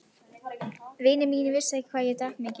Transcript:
Vinir mínir vissu ekki hvað ég drakk mikið.